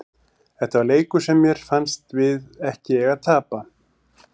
Þetta var leikur sem mér fannst við ekki eiga að tapa.